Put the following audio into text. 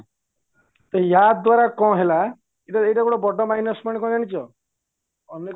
ତ ଯାଦ୍ଵାରା କ'ଣ ହେଲା ଏଇଟା ବଡ minus point କ'ଣ ଜାଣିଛ ଅନେକ